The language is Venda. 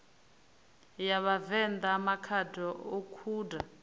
ya vhavenḓa makhado o kunda